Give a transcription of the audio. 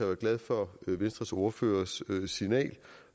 er glad for venstres ordførers signal